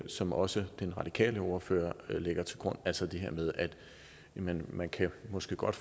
som også den radikale ordfører lægger til grund altså det her med at man måske godt